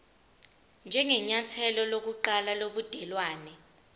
njengenyathelo lokuqala lobudelwane